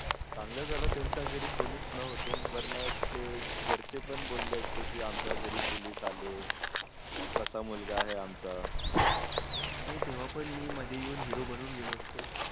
चांगलं झालं त्याच्या घरी कोणी च नव्हतं नाही तर ते वारणा ते घरचे पण बोले असते आमच्या घरी police आलेकसा मुलगा आहे आमचा मी तेव्हा पण मध्ये येऊन hero बनून गेलो असतो